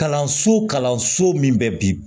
Kalanso kalanso min bɛ bi